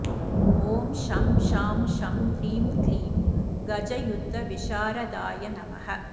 ॐ शं शां षं ह्रीं क्लीं गजयुद्धविशारदाय नमः